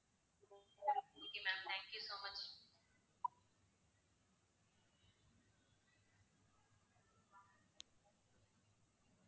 okay ma'am thank you so much